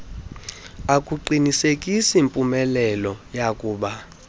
akuqinisekisi mpumelelo yakuba